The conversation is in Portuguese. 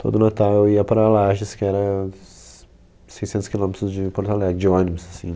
Todo Natal eu ia para Lages, que era s seiscentos quilômetros de Porto Alegre, de ônibus, assim.